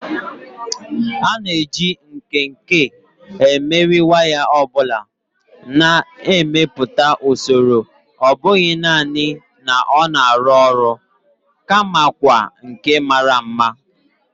A na-eji nkenke emeri waya ọ bụla, na-emepụta usoro ọ bụghị nanị na ọ na-arụ ọrụ, kamakwa nke mara mma.